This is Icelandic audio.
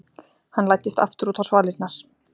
Hann læddist aftur út á svalirnar.